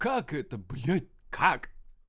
как это блять как